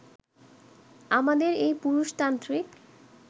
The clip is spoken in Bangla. আমাদের এই পুরুষতান্ত্রিক